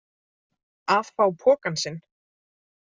Að fá pokann sinn